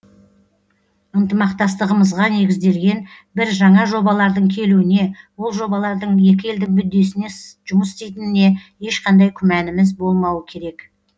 ынтымақтастығымызға негізделген бір жаңа жобалардың келуіне ол жобалардың екі елдің мүддесіне жұмыс істейтініне ешқандай күмәніміз болмауы керек